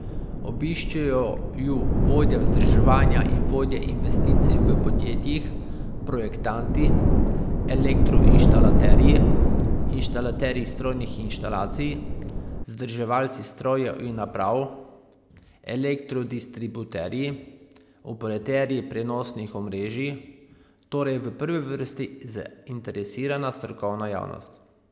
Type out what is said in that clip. Obiščejo ju vodje vzdrževanja in vodje investicij v podjetjih, projektanti, elektroinštalaterji, inštalaterji strojnih inštalacij, vzdrževalci strojev in naprav, elektrodistributerji, operaterji prenosnih omrežij, torej v prvi vrsti zainteresirana strokovna javnost.